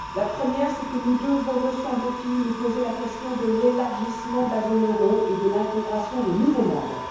La première, c'est que nous devons, me semble t il, nous poser la question de l'élargissement de la zone euro et de l'intégration de nouveaux membres.